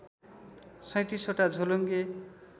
३७ वटा झोलुङ्गे